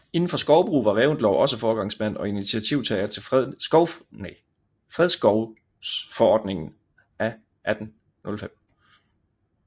Indenfor skovbrug var Reventlow også foregangsmand og initiativtager til fredskovsforordningen af 1805